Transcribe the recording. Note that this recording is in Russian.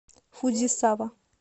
фудзисава